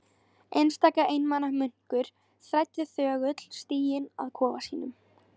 Einstaka einmana munkur þræddi þögull stíginn að kofa sínum.